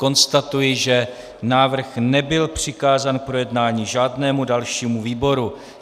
Konstatuji, že návrh nebyl přikázán k projednání žádnému dalšímu výboru.